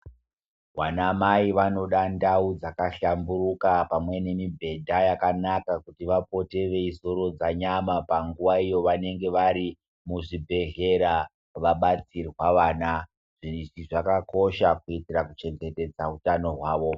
Vana mai vanoda ndau dzakahlamburuka pamwe nemibhedha yakanaka kuti vapote veizorodza nyama panguva yavanenge vari muzvibhedhlera vabatsirwa vana zvakakosha kuitira kuchengetedza hutano hwavo.